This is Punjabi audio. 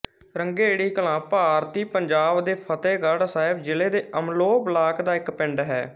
ਰੰਘੇੜੀ ਕਲਾਂ ਭਾਰਤੀ ਪੰਜਾਬ ਦੇ ਫ਼ਤਹਿਗੜ੍ਹ ਸਾਹਿਬ ਜ਼ਿਲ੍ਹੇ ਦੇ ਅਮਲੋਹ ਬਲਾਕ ਦਾ ਇੱਕ ਪਿੰਡ ਹੈ